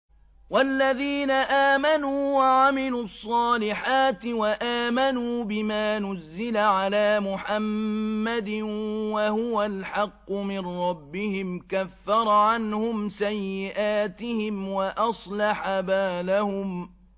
وَالَّذِينَ آمَنُوا وَعَمِلُوا الصَّالِحَاتِ وَآمَنُوا بِمَا نُزِّلَ عَلَىٰ مُحَمَّدٍ وَهُوَ الْحَقُّ مِن رَّبِّهِمْ ۙ كَفَّرَ عَنْهُمْ سَيِّئَاتِهِمْ وَأَصْلَحَ بَالَهُمْ